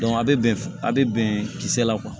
a bɛ bɛn a bɛ bɛn kisɛ la